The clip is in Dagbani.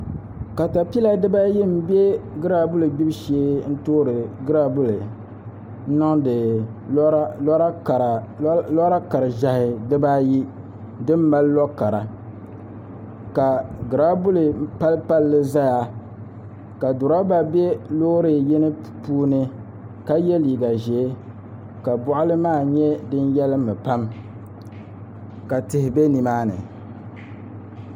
Katapila dibayi n bɛ graabuli gbubu shee n toori graabuli n niŋdi lora kara ʒiɛhi dibaayi din mali lo kara ka giraabuli pali palli ʒɛya ka durɛba bɛ Loori yini puuni ka yɛ liiga ʒiɛ ka boɣali maa nyɛ din yɛlimmi pam ka tihi bɛ nimaani